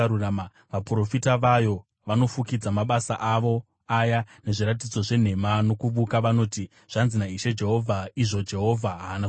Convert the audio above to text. Vaprofita vayo vanofukidza mabasa avo aya nezviratidzo zvenhema nokuvuka. Vanoti, ‘Zvanzi naIshe Jehovha,’ izvo Jehovha haana kutaura.